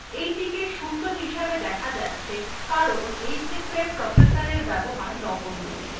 এইটিকে 0 হিসেবে দেখা যাচ্ছে কারণ এইক্ষেত্রে processorএর ব্যবহার নগন্য